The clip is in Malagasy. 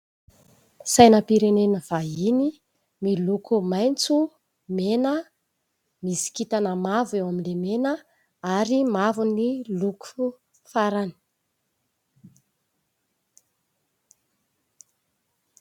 Sainam-pirenena vahiny miloko maitso, mena, misy kintana mavo eo amin'ilay mena ary mavo ny loko farany.